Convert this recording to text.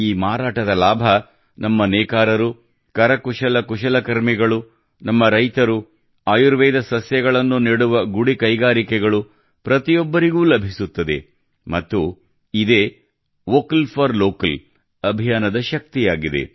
ಈ ಮಾರಾಟದ ಲಾಭ ನಮ್ಮ ನೇಕಾರರು ಕುಶಲಕರ್ಮಿಗಳು ನಮ್ಮ ರೈತರು ಆಯುರ್ವೇದ ಸಸ್ಯಗಳನ್ನು ನೆಡುವ ಗುಡಿ ಕೈಗಾರಿಕೆಗಳು ಪ್ರತಿಯೊಬ್ಬರಿಗೂ ಲಭಿಸುತ್ತಿದೆ ಮತ್ತು ಇದೇ ವೋಕಲ್ ಫಾರ್ ಲೋಕಲ್ ಅಭಿಯಾನದ ಶಕ್ತಿಯಾಗಿದೆ